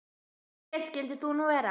Og hver skyldir þú nú vera?